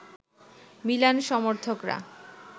Milan সমর্থকরা